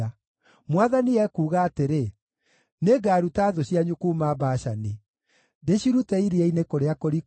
Mwathani ekuuga atĩrĩ, “Nĩngaruta thũ cianyu kuuma Bashani; ndĩcirute iria-inĩ kũrĩa kũriku,